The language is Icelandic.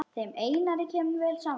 Þeim Einari kemur vel saman.